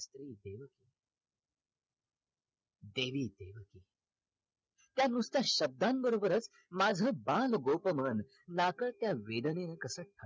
देवी त्या नुसत्या शब्दांबरोबरच माझ बाल गोप मन नकळत्या वेदनेन कसा कळवळते